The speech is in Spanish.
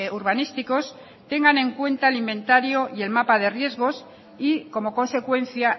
urbanísticos tengan en cuenta el inventario y el mapa de riesgos y como consecuencia